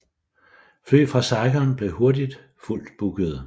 Fly fra Saigon blev hurtigt fuldt bookede